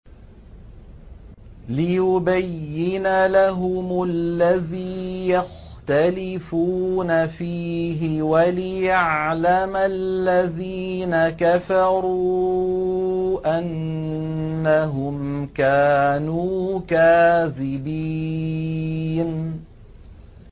لِيُبَيِّنَ لَهُمُ الَّذِي يَخْتَلِفُونَ فِيهِ وَلِيَعْلَمَ الَّذِينَ كَفَرُوا أَنَّهُمْ كَانُوا كَاذِبِينَ